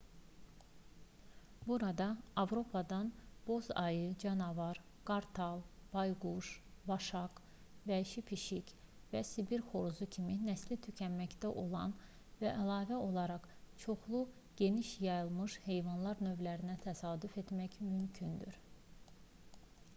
burada avropadan boz ayı canavar qartal bayquş vaşaq vəhşi pişik və sibir xoruzu kimi nəsli tükənməkdə olan və əlavə olaraq çoxlu geniş yayılmış heyvan növlərinə təsadüf etmək mümkündür